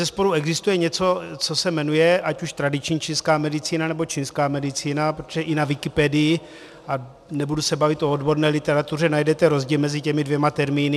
Bezesporu existuje něco, co se jmenuje ať už tradiční čínská medicína, nebo čínská medicína, protože i na Wikipedii, a nebudu se bavit o odborné literatuře, najdete rozdíl mezi těmi dvěma termíny.